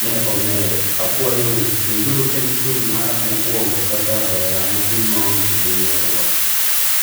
Ne omedo: akwayo u winj uru tend chung' mara mokwongo kaka rawera matin ma oge gi ng'eruok